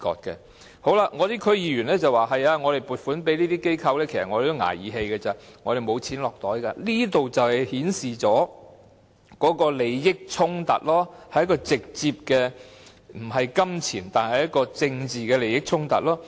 有區議員說，撥款給這些機構其實只是"捱義氣"，他們是沒錢落袋的，這正正顯示利益衝突所在，是直接的政治利益而非金錢利益衝突。